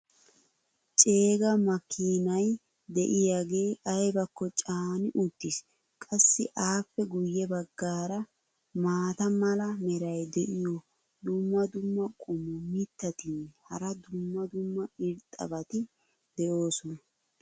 ceega makkiinay diyaagee aybakko caani uttiis. qassi appe guye bagaara maata mala meray diyo dumma dumma qommo mitattinne hara dumma dumma irxxabati de'oosona.